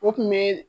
O kun be